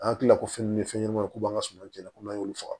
An kilala ko fɛn ni fɛn ɲɛnɛmaniw k'u b'an ŋa suman ko n'an y'olu faga